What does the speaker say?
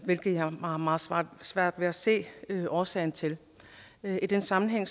hvilket jeg har meget svært ved at se årsagen til i den sammenhæng